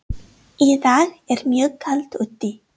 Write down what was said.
Í dag er mjög kalt úti.